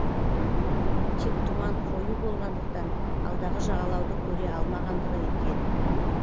тек тұман қою болғандықтан алдағы жағалауды көре алмағандығы екен